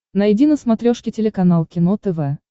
найди на смотрешке телеканал кино тв